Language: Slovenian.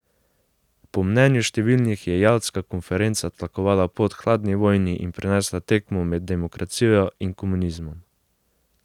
Po mnenju številnih je jaltska konferenca tlakovala pot hladni vojni in prinesla tekmo med demokracijo in komunizmom.